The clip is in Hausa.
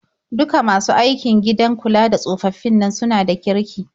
Duka masu aiki gidan kula da tsofaffin nan suna da kirki.